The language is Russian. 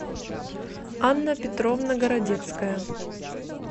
анна петровна городецкая